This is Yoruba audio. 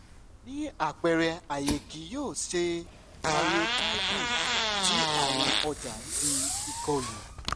ni apẹrẹ a yẹ ki o ṣe karyotyping ti awọn ọja ti ikolu